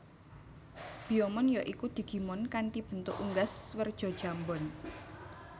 Biyomon ya iku digimon kanthi bentuk unggas werja jambon